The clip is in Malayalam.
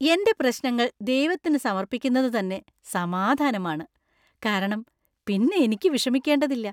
എന്‍റെ പ്രശ്നങ്ങൾ ദൈവത്തിന് സമർപ്പിക്കുന്നതു തന്നെ സമാധാനമാണ്, കാരണം പിന്നെ എനിക്ക് വിഷമിക്കേണ്ടതില്ല.